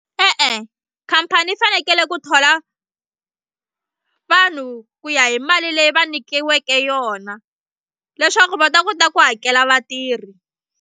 E-e khampani yi fanekele ku thola vanhu ku ya hi mali leyi va nyikiweke yona leswaku va ta kota ku hakela vatirhi.